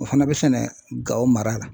O fana bɛ sɛnɛ Gawo mara la.